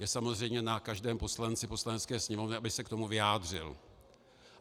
Je samozřejmě na každém poslanci Poslanecké sněmovny, aby se k tomu vyjádřil.